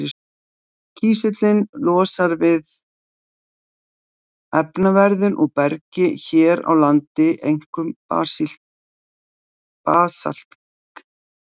Kísillinn losnar við efnaveðrun úr bergi, hér á landi einkum basaltgleri.